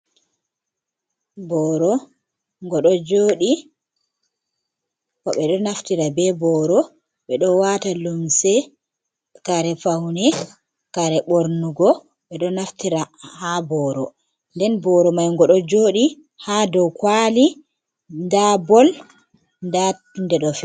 Boro ngodo joɗi nden be boro be do wata lumse kare pauni kare bornugo, ɓe do naftira ha booro nden boro mai go do jodi ha dow kwali nda boll.